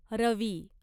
रवी